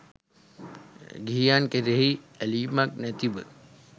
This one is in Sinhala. ගිහියන් කෙරෙහි ඇලීමක් නැතිව